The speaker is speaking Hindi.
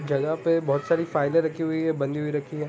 जगह पे बहोत सारे फाइले रखी हुई है बंधी रखी है ।